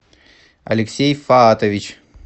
алексей фаатович